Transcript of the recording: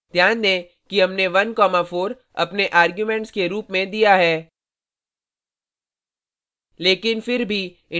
ध्यान दें कि हमने 14 अपने arguments के रूप में दिया है